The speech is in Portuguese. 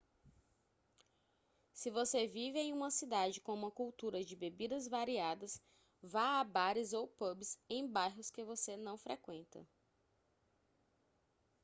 se você vive em uma cidade com uma cultura de bebidas variadas vá a bares ou pubs em bairros que você não frequenta